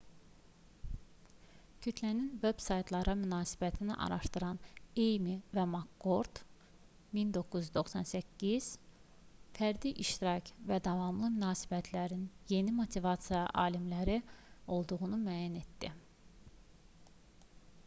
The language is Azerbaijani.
kütlənin veb-saytlara münasibətini araşdıran eymi və makkord 1998 fərdi iştirak və davamlı münasibətlər"in yeni motivasiya amilləri olduğunu müəyyən etdi